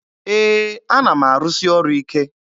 Ee, ana m arụsị ọrụ ike.